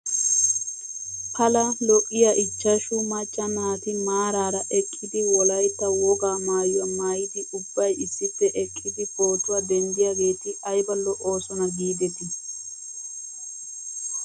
Pala lo'iyaa ichchashu macca naati maaraara eqqidi wollaytta wogaa maayuwaa maayidi ubbay issippe eqqidi pootuwaa denddiyaageeti ayba lo'oosona giidetii .